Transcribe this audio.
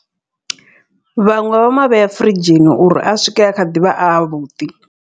Vhaṅwe vha mavhea furidzhini uri a swike a kha ḓivha avhuḓi.